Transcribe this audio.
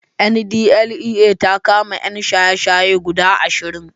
NDLEA ta kama ƴan shaye-shaye guda ashirin